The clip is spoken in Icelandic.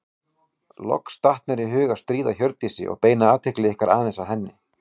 Loks datt mér í hug að stríða Hjördísi og beina athygli ykkar aðeins að henni.